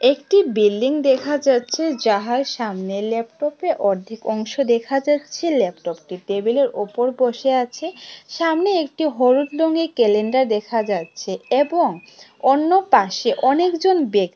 একটি বিল্ডিং দেখা যাচ্ছে যাহার সামনে ল্যাপটপে অর্ধেক অংশ দেখা যাচ্ছে ল্যাপটপটি টেবিলের ওপর বসে আছে সামনে একটি হলুদ রঙে ক্যালেন্ডার দেখা যাচ্ছে এবং অন্য পাশে অনেকজন ব্যক--